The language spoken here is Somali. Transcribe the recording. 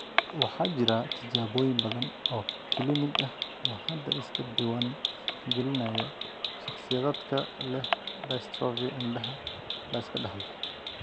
Waxaa jira tijaabooyin badan oo kiliinig ah oo hadda iska diiwaan gelinaya shakhsiyaadka leh dystrophy indhaha la iska dhaxlo.